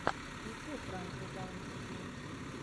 включай пранки даунпур геймс